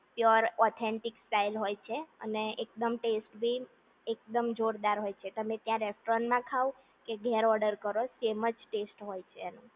pure authentics style હોય છે અને એકદમ ટેસ્ટી અને એકદમ જોરદાર હોય છે તમે ત્યાં રેસ્ટોરન્ટમાં ખાવ કે ઘેર ઓડર કરો સેમ જ ટેસ્ટ હોય છે